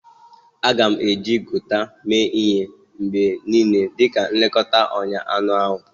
A ga-eji Gauta mee ihe mgbe niile dị ka nlekọta ọnya anụ ahụ.